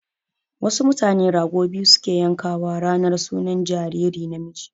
Wasu mutane rago biyu su ke yanka wa ranar sunan jariri namiji